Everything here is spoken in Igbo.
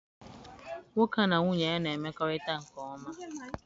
Nwoke a na nwunye ya na-emekorita nke oma.